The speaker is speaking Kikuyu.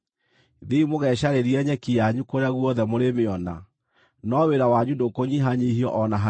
Thiĩi mũgecarĩrie nyeki yanyu kũrĩa guothe mũrĩmĩona, no wĩra wanyu ndũkũnyihanyiihio o na hanini.’ ”